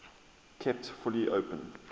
kept fully open